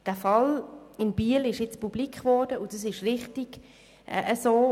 Der Fall in Biel ist jetzt publik geworden, und das ist richtig so.